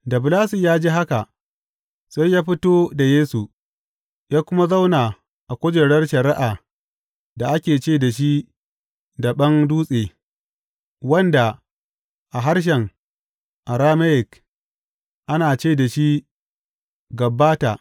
Da Bilatus ya ji haka, sai ya fito da Yesu, ya kuma zauna a kujerar shari’ar da ake ce da shi Daɓen Dutse wanda a harshen Arameyik ana ce da shi Gabbata.